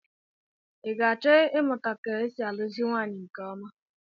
I ga-achọ ịmụta ka e si alụzi nwaanyị nke ọma?